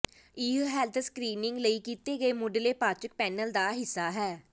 ਇਹ health screening ਲਈ ਕੀਤੇ ਗਏ ਮੁੱਢਲੇ ਪਾਚਕ ਪੈਨਲ ਦਾ ਹਿੱਸਾ ਹੈ